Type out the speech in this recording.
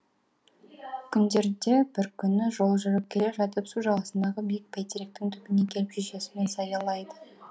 күндерде бір күні жол жүріп келе жатып су жағасындағы биік бәйтеректің түбіне келіп шешесімен саялайды